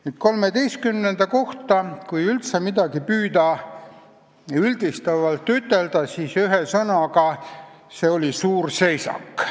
Nüüd, kui XIII koosseisu kohta üldse püüda midagi üldistavalt ütelda, siis see oli suur seisak.